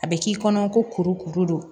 A bɛ k'i kɔnɔ ko kuru kuru don